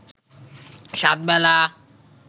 সাত বেলা